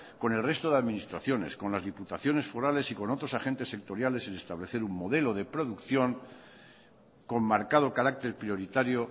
con el resto de administraciones con las diputaciones forales y con otros agentes sectoriales en establecer un modelo de producción con marcado carácter prioritario